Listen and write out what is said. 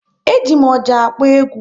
E ji m ọjà akpọ egwu